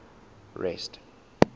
rest